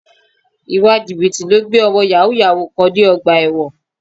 Ìwà Jìbìtì ló gbé ọmọ Yàhooyahoo kan dé ọgbà ẹ̀wọ̀n